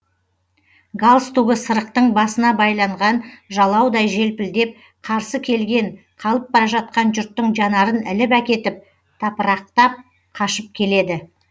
галстугы сырықтың басына байланған жалаудай желпілдеп қарсы келген қалып бара жатқан жұрттың жанарын іліп әкетіп тапырақтап қашып келеді